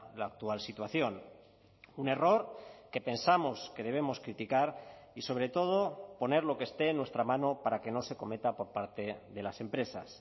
la actual situación un error que pensamos que debemos criticar y sobre todo poner lo que esté en nuestra mano para que no se cometa por parte de las empresas